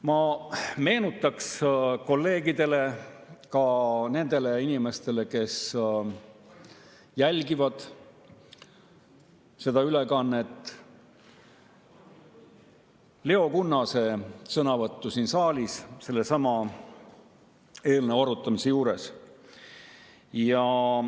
Ma meenutan kolleegidele ja ka nendele inimestele, kes jälgivad seda ülekannet mujalt, Leo Kunnase sõnavõttu siin saalis sellesama eelnõu arutamisel.